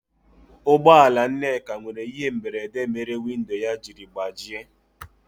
Ụgbọ ala Nneka nwere ihe mberede mere windo ya jiri gbajie.